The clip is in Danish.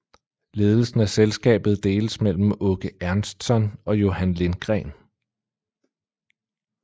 Ledelsen af selskabet deles mellem Åke Ernstsson og Johan Lindgren